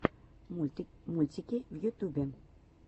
мультики в ютюбе